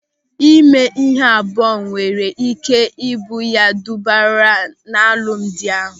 Ịme ịhụ abụọ nwere ị́ké ị bụ ya dọbara n'alụmdi ahụ.